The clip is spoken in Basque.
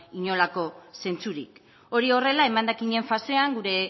inolako zentzurik hori horrela emendakinen fasean gure